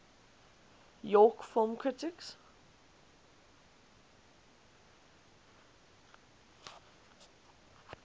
york film critics